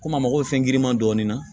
Komi a mago bɛ fɛn giriman dɔɔni na